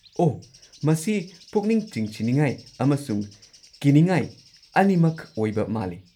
ꯑꯣꯍ, ꯃꯁꯤ ꯄꯨꯛꯅꯤꯡ ꯆꯤꯡꯁꯤꯟꯅꯤꯡꯉꯥꯏ ꯑꯃꯁꯨꯡ ꯀꯤꯅꯤꯡꯉꯥꯏ ꯑꯅꯤꯃꯛ ꯑꯣꯏꯕ ꯃꯥꯜꯂꯤ꯫